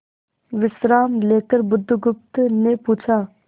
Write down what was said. विश्राम लेकर बुधगुप्त ने पूछा